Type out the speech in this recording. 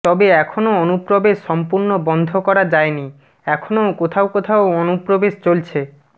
তবে এখনও অনুপ্রবেশ সম্পূর্ণ বন্ধ করা যায়নি এখনও কোথাও কোথাও অনুপ্রবেশ চলছে